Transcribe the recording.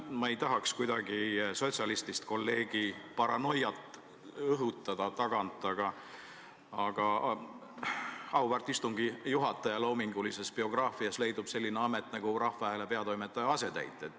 Ma ei tahaks kuidagi sotsialistist kolleegi paranoiat tagant õhutada, aga auväärt istungi juhataja loomingulises biograafias leidub selline amet nagu Rahva Hääle peatoimetaja asetäitja.